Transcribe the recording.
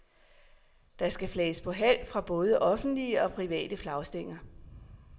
Der skal flages på halv fra både offentlige og private flagstænger.